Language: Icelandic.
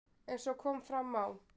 Eins og kom fram á